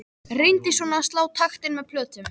Reyndi svona að slá taktinn með plötum.